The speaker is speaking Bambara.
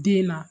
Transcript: Den na